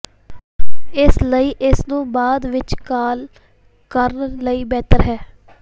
ਇਸ ਲਈ ਇਸ ਨੂੰ ਬਾਅਦ ਵਿੱਚ ਕਾਲ ਕਰਨ ਲਈ ਬਿਹਤਰ ਹੈ